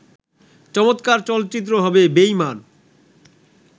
চমৎকার চলচ্চিত্র হবে বেঈমান